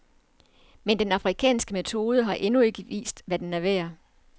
Men den afrikanske metode har endnu ikke vist, hvad den er værd.